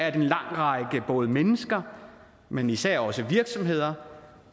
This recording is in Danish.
at en lang række mennesker men især også virksomheder